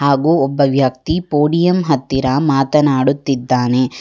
ಹಾಗು ಒಬ್ಬ ವ್ಯಕ್ತಿ ಪೋಡಿಯಂ ಹತ್ತಿರ ಮಾತನಾಡುತ್ತಿದ್ದಾನೆ.